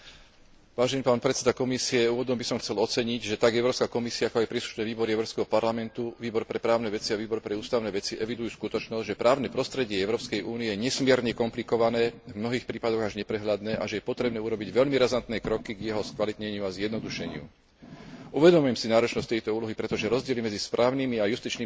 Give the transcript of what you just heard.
Úvodom by som chcel oceniť, že tak Európska komisia, ako aj príslušné výbory Európskeho parlamentu, Výbor pre právne veci a Výbor pre ústavné veci evidujú skutočnosť, že právne prostredie Európskej únie je nesmierne komplikované, v mnohých prípadoch až neprehľadné, a že je potrebné urobiť veľmi razantné kroky k jeho skvalitneniu a zjednodušeniu. Uvedomujem si náročnosť tejto úlohy, pretože rozdiely medzi správnymi a justičnými systémami jednotlivých členských krajín